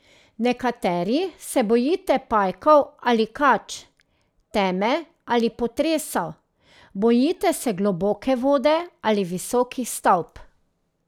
Nekateri se bojite pajkov ali kač, teme ali potresov, bojite se globoke vode ali visokih stavb.